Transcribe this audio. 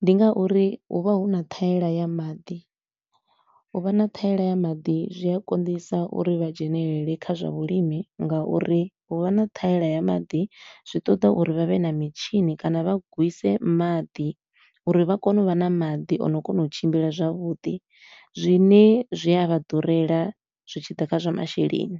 Ndi ngauri hu vha hu na ṱhaela ya maḓi, u vha na ṱhaela ya maḓi zwi a konḓisa uri vha dzhenelele kha zwa vhulimi nga uri hu vha na ṱhaela ya maḓi zwi ṱoḓa uri vha vhe na mitshini kana vha gwise maḓi uri vha kone u vha na maḓi o no kona u tshimbila zwavhuḓi, zwine zwi a vha ḓurela zwi tshi ḓa kha zwa masheleni.